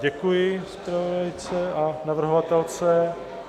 Děkuji zpravodajce a navrhovatelce.